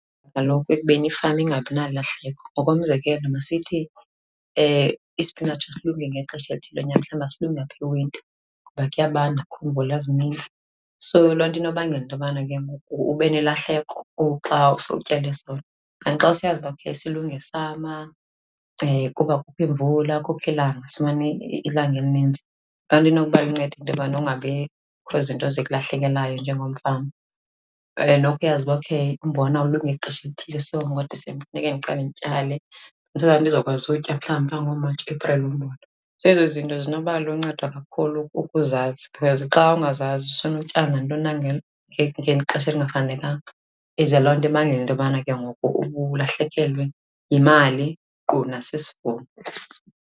Kaloku ekubeni ifama ingabi nalahleko. Ngokomzekelo, masithi ispinatshi asilungi ngexesha elithile lonyaka, mhlawumbi asilungi apha ewinta ngoba kuyabanda akukho mvula zininzi. So, loo nto inobangela into yobana ke ngoku ube nelahleko xa sowutyale sona. Kanti xa usiyazi uba okay silunga esama kuba kukho iimvula, kukho ilanga, lifumana ilanga elininzi, loo nto inokuba luncedo into yobana kungabikho zinto zikulahlekelayo njengomfama. Kwaye nokuyazi uba okay umbona ulunga ngexesha elithile so ngoDisemba kufuneke ndiqale ndityale so that ndizokwazi utya mhlawubi phaa ngoMatshi, Epreli umbona. Zezo zinto zinoba luncedo kakhulu ukuzazi because xa ungazazi usenotyala nantoni na ngexesha elingafanelekanga, ize loo nto ibangela into yobana ke ngoku uba ulahlekelwe yimali nkqu nasisivuno.